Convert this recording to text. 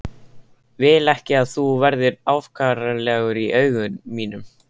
Vil ekki að þú verðir afkáralegur í augum mínum.